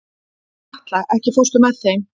Atla, ekki fórstu með þeim?